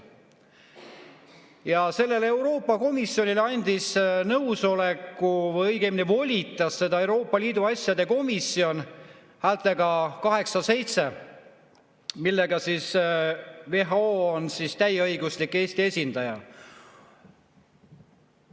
Ja sellele Euroopa Komisjonile andis nõusoleku või õigemini teda volitas Euroopa Liidu asjade komisjon häältega 8 : 7, mistõttu WHO on täieõiguslik Eesti esindaja.